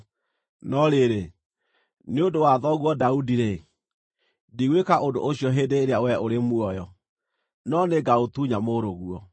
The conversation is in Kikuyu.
No rĩrĩ, nĩ ũndũ wa thoguo Daudi-rĩ, ndigwĩka ũndũ ũcio hĩndĩ ĩrĩa we ũrĩ muoyo. No nĩngaũtunya mũrũguo.